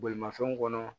Bolimafɛnw kɔnɔ